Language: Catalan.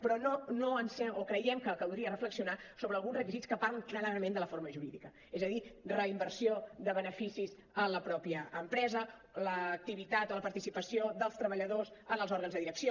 però creiem que caldria reflexionar sobre alguns requisits que parlen clarament de la forma jurídica és a dir reinversió de beneficis en la mateixa empresa l’activitat o la participació dels treballadors en els òrgans de direcció